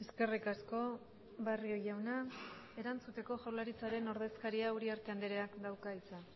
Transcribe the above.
eskerrik asko barrio jauna erantzuteko jaurlaritzaren ordezkaria uriarte andreak dauka hitza